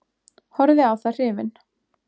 Horfði á það hrifinn.